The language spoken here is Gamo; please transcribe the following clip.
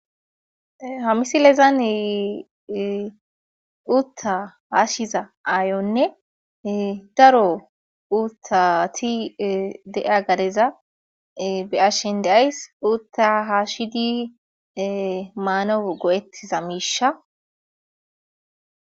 Ha misilezane utta haashshiza aayonne daro uttati de'a gadeza be ashen deays utta haashshidi maano go'ettiza miisha.